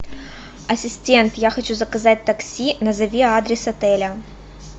ассистент я хочу заказать такси назови адрес отеля